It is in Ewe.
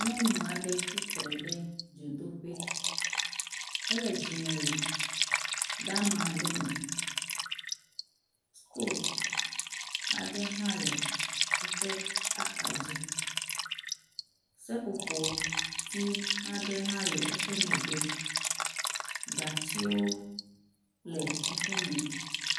Nyɔnu aɖe tsitre ɖe dzodoƒe, ele dzimewu deama aɖe me. Sitovu aɖe hã le eƒe axadzi. Seƒoƒoti aɖe hã le eƒe megbe. Gatiwo le eƒe megbe.